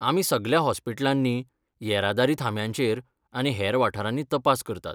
आमी सगळ्या हॉस्पिटलांनी, येरादारी थांब्यांचेर आनी हेर वाठारांनी तपास करतात.